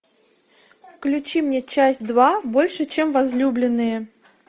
включи мне часть два больше чем возлюбленные